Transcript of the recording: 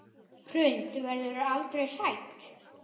Hrund: Verðurðu aldrei hrædd?